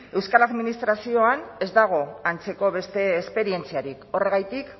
euskal administrazioan ez dago antzeko beste esperientziarik horregatik